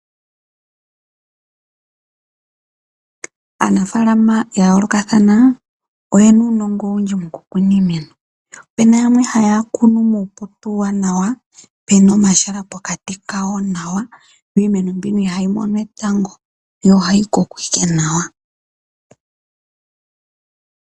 Aanafaalama yayoolokathana oyena uunongo owundji mokukuna iimeno, opena yamwe haya kunu muupoto uuwanawa pena omahala pokati kawo nawa yo iimeno mbino ihayi mono etango yo ohayi koko ike nawa.